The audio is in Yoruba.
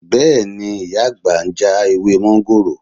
Bẹ́ẹ̀ ni, ìyá àgbà ń já ewé mọ́ńgòrò